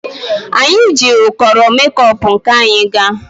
Anyị jikwa ụkọrọ mekop nke anyị gaa.